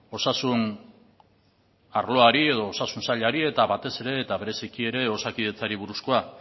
osasun arloari edo osasun sailari eta batez ere eta bereziki ere osakidetzari buruzkoa